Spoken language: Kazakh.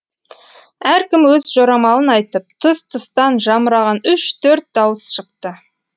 әркім өз жорамалын айтып тұс тұстан жамыраған үш төрт дауыс шықты